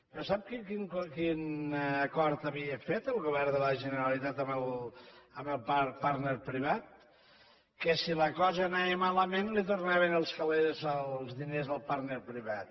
però sap quin acord havia fet el govern de la generalitat amb el partner privat que si la cosa anava malament li tornaven els calés els diners al partner privat